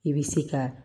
I bɛ se ka